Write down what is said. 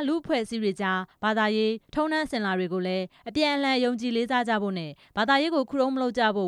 လူ့အဖွဲ့အစည်းတွေအကြား ဘာသာရေး၊ ဓလေ့ထုံးတမ်းစဉ်လာတွေကိုလည်း အပြန်အလှန် ယုံကြည်လေးစားကြဖို့ နဲ့ ဘာသာရေးကို ခုတုံးမလုပ်ကြဖို့